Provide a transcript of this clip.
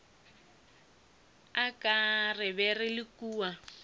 re be re le kua